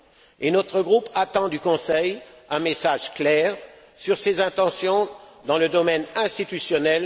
Et notre groupe attend du Conseil un message clair sur ses intentions, dans le domaine institutionnel